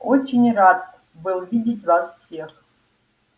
очень рад был видеть вас всех